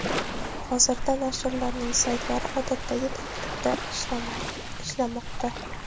Hozirda nashrlarning saytlari odatdagi tartibda ishlamoqda.